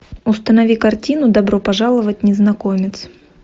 установи картину добро пожаловать незнакомец